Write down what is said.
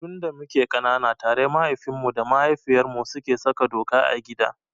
Tun da muke ƙanana tare mahaifinmu da mahaifiyartmu suke saka doka a gida.